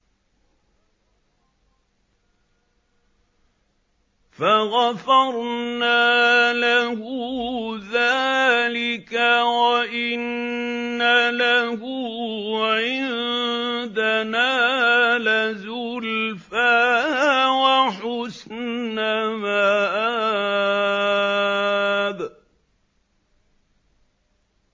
فَغَفَرْنَا لَهُ ذَٰلِكَ ۖ وَإِنَّ لَهُ عِندَنَا لَزُلْفَىٰ وَحُسْنَ مَآبٍ